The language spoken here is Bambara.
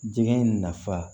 Jɛgɛ in nafa